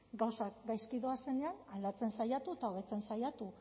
gauzak gaizki doazenean aldatzen saiatu eta hobetzen saiatu